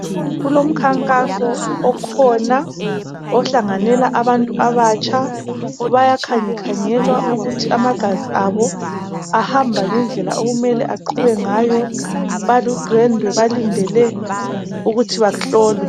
Kulomkhankaso okhona ohlanganela abantu abatsha bayakhangekhangelwa ukuthi amagazi abo ahamba ngendla okumele aqhube ngayo baludwendwe balindele ukuthi bahlolwe.